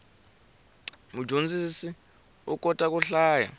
mudyondzisi u kota ku hlaya